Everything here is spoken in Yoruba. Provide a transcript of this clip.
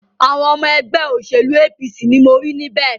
Àwọn ọmọ ẹgbẹ́ òṣèlú APC ni mo rí níbẹ̀.